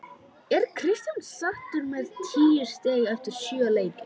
Er Kristján sáttur með tíu stig eftir sjö leiki?